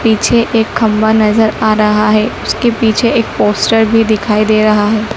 पीछे एक खंभा नजर आ रहा है उसके पीछे एक पोस्टर भी दिखाई दे रहा है।